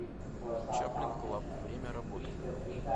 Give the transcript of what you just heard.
чаплин клаб время работы